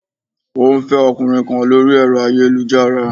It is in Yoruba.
Ó ń fẹ́ ọkùnrin kan lórí ẹ̀rọ ayélujára